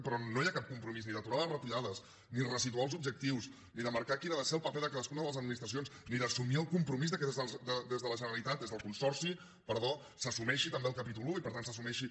però no hi ha cap compromís ni d’aturar les retallades ni de ressituar els objectius ni de marcar quin ha de ser el paper de cadascuna de les administracions ni d’assumir el compromís que des del consorci perdó s’assumeixi també el capítol i i per tant s’assumeixi